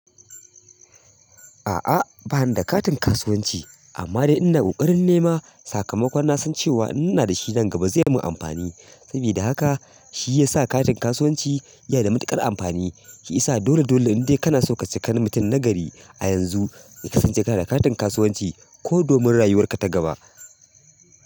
A'a, bani da katin kasuwanci amma dai ina ƙoƙarin nema sakamakon na san cewa in na da shi nan gaba zai mun amfani. Saboda haka shi ya sa katin kasuwanci iya da matuƙar amfani. Shi isa dole dole inda kana so ka cika na mutum na gari a yanzu ka kasance kana da katin kasuwanci ko domin rayuwarka ta gaba.